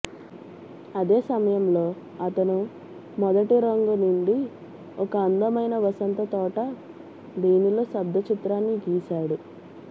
అదే సమయంలో అతను మొదటి రంగు నిండి ఒక అందమైన వసంత తోట దీనిలో శబ్ద చిత్రాన్ని గీసాడు